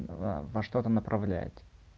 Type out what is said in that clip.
в во что-то направляет